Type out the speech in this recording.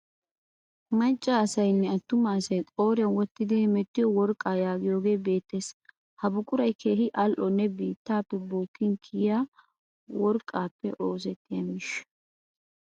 Macca asayinne attuma asay qooriyan wottidi hemettiyoo worqqa yaagiyoge beettes. Ha buquray keehi al'onne biittaappe bookkin kiyia worqqaappe oosettiya miishsha.